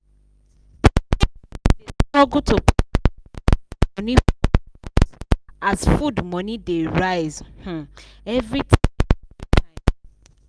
struggle to. as food money dey rise um every ti